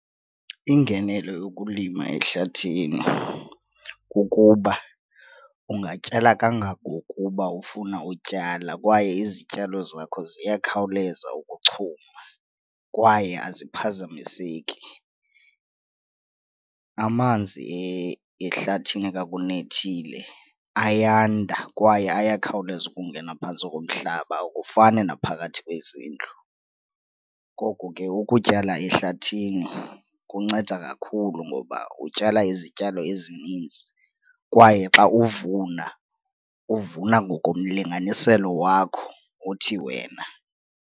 Ingenelo yokulima ehlathini kukuba ungatyala kangangokuba ufuna utyala kwaye izityalo zakho ziyakhawuleza ukuchuma kwaye aziphazamiseki. Amanzi ehlathini xa kunethile ayanda kwaye ayakhawuleza ukungena phantsi komhlaba, akufani naphakathi kwezindlu. Ngoko ke ukutyala ehlathini kunceda kakhulu ngoba utyala izityalo ezininzi kwaye xa uvuna uvuna ngokomlinganiselo wakho othi wena.